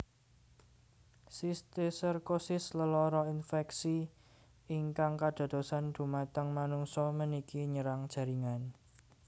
Sistiserkosis lelara infeksi ingkang kadadosan dhumateng manungsa meniki nyerang jaringan